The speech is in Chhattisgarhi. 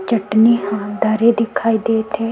चटनी ह धरे दिखाई देत हे।